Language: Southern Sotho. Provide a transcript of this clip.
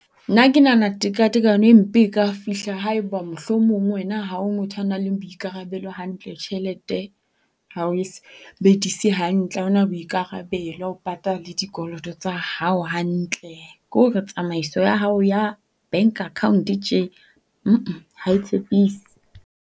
Nna ke nahana tekatekano empe e ka fihla haeba mohlomong wena ha o motho ya nang le boikarabelo tjehelete ha o e sebedise hantle. Ha o na boikarabelo. Ha o patale dikoloto tsa hao hantle. Ke hore tsamaiso ya hao ya bank account tje ha e tshepise.